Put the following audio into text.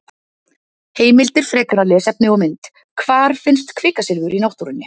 Heimildir, frekara lesefni og mynd: Hvar finnst kvikasilfur í náttúrunni?